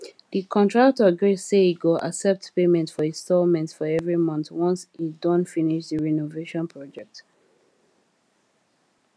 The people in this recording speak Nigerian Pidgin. the contractor gree say e go accept payment for installments for every month once e don finish the renovation project